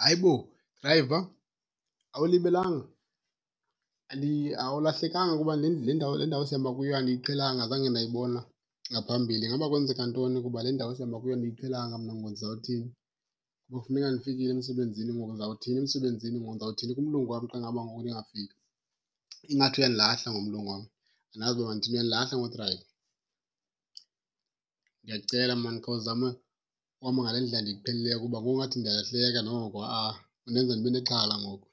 Hayibo, drayiva! Awulibelanga? Awulahlekanga, kuba le le ndawo le ndawo sihamba kuyo andiyiqhelanga azange ndayibona ngaphambili? Ingaba kwenzeka ntoni kuba le ndawo sihamba kuyo andiyitwhelanga mna ngoku? Ndizawuthini? Kufuneka ndifikile emsebenzini ngoku ndizawuthini emsebenzini ngoku, ndizawuthini kumlungu wam xa ngaba ngoku ndingafiki? Ingathi uyandilahla ngoku mlungu wam, andazi uba mandithini. Uyandilahla ngoku, drayiva. Ndiyakucela mani khawuzame uhamba ngale ndlela ndiyiqhelileyo kuba ngoku ngathi ndiyahleka noko ha-a. Undenza ndibe nexhala ngoku,